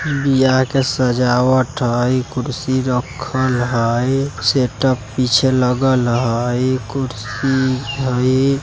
बिहा का सजावट हइ कुर्सी रखल हइ सेटप पिछे लगल हइ कुर्सी हइ ।